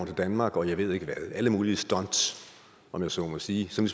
til danmark og jeg ved ikke hvad alle mulige stunts om jeg så må sige som